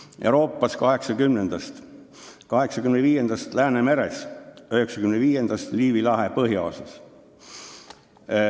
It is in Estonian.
– 1980-ndast Euroopas, 1985-ndast Läänemeres, 1995-ndast Liivi lahe põhjaosas.